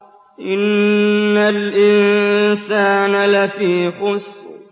إِنَّ الْإِنسَانَ لَفِي خُسْرٍ